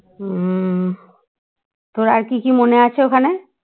হম তোর আর কি কি মনে আছে ওখানে?